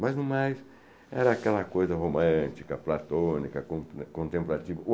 Mas, no mais, era aquela coisa romântica, platônica, con contemplativa.